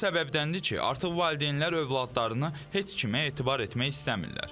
Bu səbəbdəndir ki, artıq valideynlər övladlarını heç kimə etibar etmək istəmirlər.